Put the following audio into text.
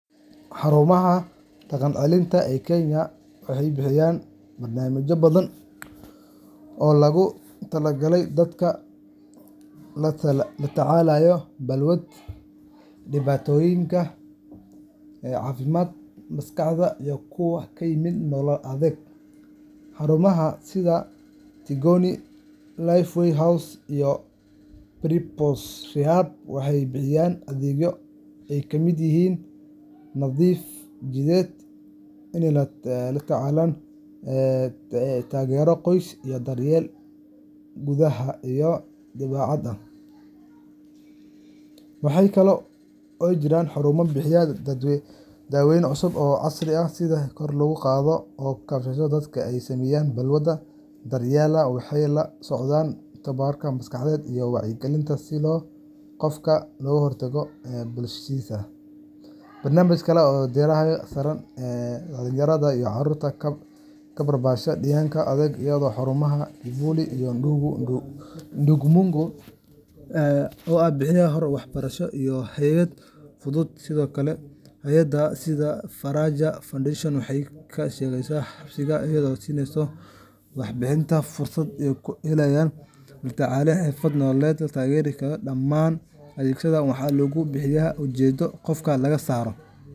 Xarumaha dhaqan-celinta ee Kenya waxay bixiyaan barnaamijyo badan oo loogu talagalay dadka la tacaalaya balwadda, dhibaatooyinka caafimaadka maskaxda, iyo kuwa ka yimid nolol adag. Xarumaha sida Tigoni, Lifeway House, iyo Primrose Rehab waxay bixiyaan adeegyo ay ka mid yihiin nadiifin jidheed, la-talin shakhsiyeed, taageero qoys, iyo daryeel gudaha iyo dibadda ah. Waxaa kale oo jira xarumo bixiya daaweyn cusub oo casri ah si kor loogu qaado soo kabashada dadka ay saameysay balwadda. Daryeelkaas waxaa la socda tababaro maskaxeed iyo wacyigelin si qofka loogu diyaariyo inuu si buuxda ugu laabto bulshadiisa. Barnaamijyada kale waxay diiradda saaraan dhallinyarada iyo carruurta ku barbaaray deegaanka adag, iyadoo xarumo sida Kivuli iyo Ndugu Mdogo ay bixiyaan hoy, waxbarasho, iyo hagid nolosha. Sidoo kale, hay’adaha sida Faraja Foundation waxay ka shaqeeyaan xabsiyada, iyagoo siiya maxaabiista fursad ay ku helaan la-talin, xirfado nololeed, iyo taageero dhaqan-celin ah. Dhammaan adeegyadaas waxaa lagu bixiyaa ujeedo ah in qofka laga saaro.